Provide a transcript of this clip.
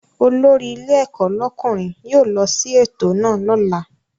Olórí ilé ẹ̀kọ́ lọ́kùnrin yóò lọ sí ètò náà lọ́la